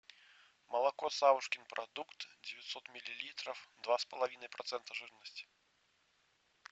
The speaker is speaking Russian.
молоко савушкин продукт девятьсот миллилитров два с половиной процента жирности